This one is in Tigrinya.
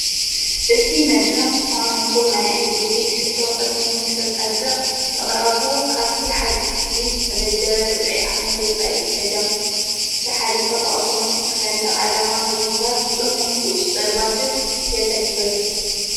እቲ መድራኽ ዝኾኑ ይኹን ናይ ዕደጌት ሕቶ ቕድሚ ምተተጻድቕ ምቕራቡ ካብቲ ሓደ ኽፍልስ ተመደበ ርብዒ ዓመት ወፃይ ገደም ተሓለፈ ብኣውቶማቲክ ሠንደቕ ዓላማ ብምጓር ጽኑሕ ቊ ፁ ጸርባጐት የተግብር።